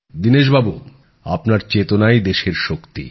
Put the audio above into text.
দীনেশবাবু আপনার চেতনাই দেশের শক্তি